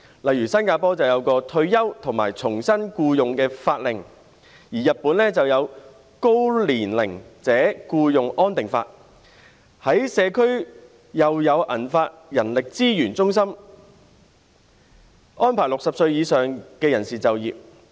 例如新加坡有一項《退休與重新僱用法令》、日本就有《高年齡者僱用安定法》，在社區又有銀髮人力資源中心，安排60歲以上人士就業。